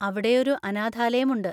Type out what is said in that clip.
അവിടെയൊരു അനാഥാലയം ഉണ്ട്.